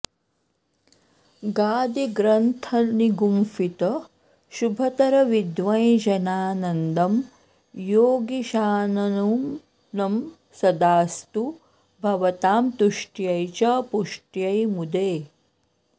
गादिग्रन्थनिगुम्फित शुभतर विद्वञ्जनानन्दं योगीशाननुनं सदास्तु भवतां तुष्ट्यै च पुष्ट्यै मुदे